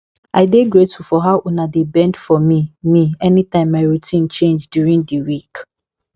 i dey grateful for how una dey bend for me me anytime my routine change during di week